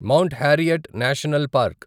mount Harriet National park